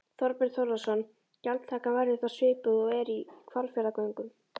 Þorbjörn Þórðarson: Gjaldtakan verður þá svipuð og er í Hvalfjarðargöngum?